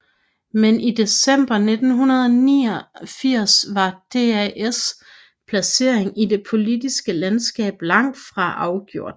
Men i december 1989 var DAs placering i det politiske landskab langt fra afgjort